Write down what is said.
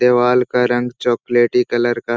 देवाल का रंग चॉकलेटी कलर का --